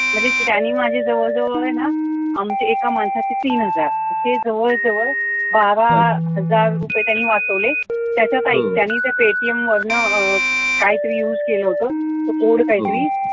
त्याने माझे जवळ जवळ आहे न आमचे एका माणसाचे तीन हजार असे जवळ जवळ बारा हजार रुपये त्यांने वाचवले त्याच्या स्थायिक त्याने त्याच्या paytm वरन काही तरी use केलं होत code काही तरी